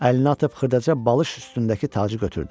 Əlini atıb xırdaca balış üstündəki tacı götürdü.